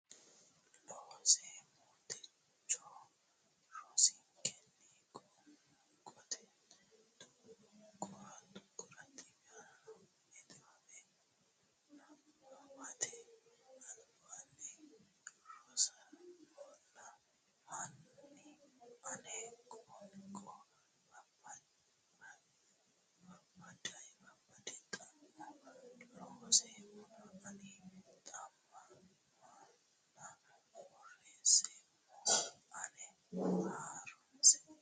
Loonseemmo Techo rosinkenni qoonqote tuqqore niwaawe nabbawate albaanni ronseemmona hanni ani qoonqo babbade xa mo loonseemmona ani xa manna borreesseemmo ana ha runse.